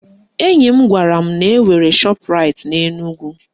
Enyi m gwara m na-enwere Shọpraịt n'Enugwu